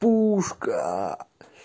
пушка